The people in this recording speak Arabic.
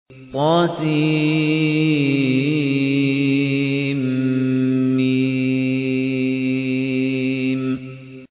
طسم